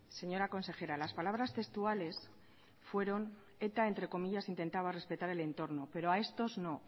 señora consejera las palabras textuales fueron eta entre comillas intentaba respetar el entorno pero a estos no